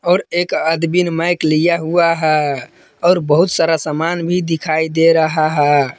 और एक आदमी ने माइक लिया हुआ है और बहुत सारा सामान भी दिखाई दे रहा है।